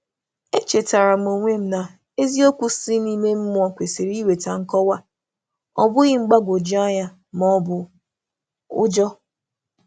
Echetàrà m onwe m na eziokwu ime mmụọ kwesị ịkpọcha ihe, ọ ịkpọcha ihe, ọ bụghị iweta mgbagwoju anya ma ọ bụ ụjọ.